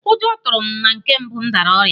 Ụjọ tụrụ m na nke mbụ nwa m dara ọrịa